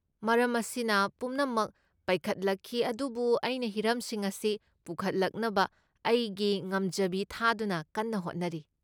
ꯃꯔꯝ ꯑꯁꯤꯅ ꯄꯨꯝꯅꯃꯛ ꯄꯩꯈꯠꯂꯛꯈꯤ, ꯑꯗꯨꯕꯨ ꯑꯩꯅ ꯍꯤꯔꯝꯁꯤꯡ ꯑꯁꯤ ꯄꯨꯈꯠꯂꯛꯅꯕ ꯑꯩꯒꯤ ꯉꯝꯖꯕꯤ ꯊꯥꯗꯨꯅ ꯀꯟꯅ ꯍꯣꯠꯅꯔꯤ ꯫